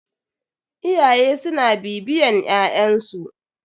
Iyaye suna bibiyan ƴaƴn su.